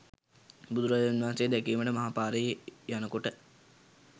බුදුරජාණන් වහන්සේ දැකීමට මහ පාරේ යන කොට